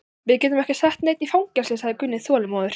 Við getum ekki sett neinn í fangelsi, sagði Gunni þolinmóður.